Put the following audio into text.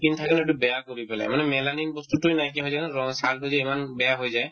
skin থাকে সেইটো বেয়া কৰি পেলাই মানে melanin বস্তুতোয়ে নাইকিয়া হৈ যায় সেইকাৰণে ৰং ছালতো যে ইমান বেয়া হৈ যায়